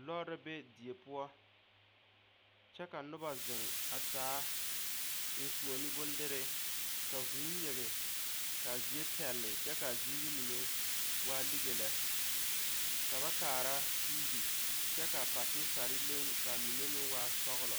Lɔɔre la be die poɔ kyɛ ka noba zeŋ a taa eŋfuoni bondere ka vuu nyige ka a zie pɛlle kyɛ ka a ziiri mine waa lige lɛ ka ba kaara tv kyɛ ka patisare leŋ kyɛ ka a mine meŋ waa sɔglɔ.